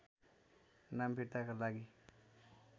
नाम फिर्ताका लागि